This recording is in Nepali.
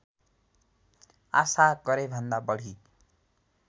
आशा गरेभन्दा बढी